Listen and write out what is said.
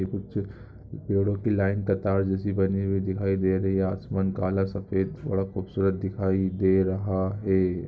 यह कुछ पैडों की लाइन कतार जैसी बनी हुई दिखाई दे रही है आसमान काला सफेद थोड़ा खूबसूरत दिखाई दे रहा है ।